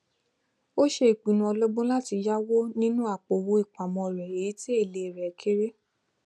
ó ṣe ìpinnu ọlọgbọn láti yáwó nínú àpòowó ìpamọ rẹ èyí tí èlé rẹ kéré